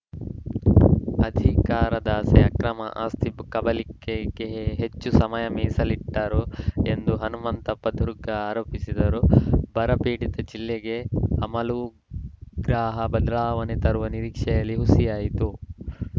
ಅಧಿಕಾರದಾಸೆ ಅಕ್ರಮ ಆಸ್ತಿ ಕಬಳಿಕೆಗೆ ಹೆಚ್ಚು ಸಮಯ ಮೀಸಲಿಟ್ಟರು ಎಂದು ಹನುಮಂತಪ್ಪ ದುರ್ಗ ಆರೋಪಿಸಿದರು ಬರಪೀಡಿತ ಜಿಲ್ಲೆಗೆ ಅಮೂಲಾಗ್ರ ಬದಲಾವಣೆ ತರುವ ನಿರೀಕ್ಷೆಯೂ ಹುಸಿಯಾಯಿತು